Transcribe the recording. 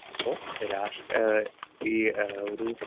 speaker 2 ഇപ്പൊ രാഷ് ആഹ് ഈ ആഹ് ഒരു